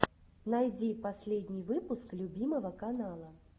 найди последний выпуск любимого канала